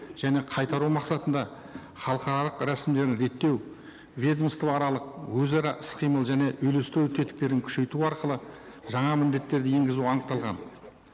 және қайтару мақсатында халықаралық рәсімдеуін реттеу ведомствоаралық өзара іс қимыл және үйлестіру тетіктерін күшейту арқылы жаңа міндеттерді енгізуі анықталған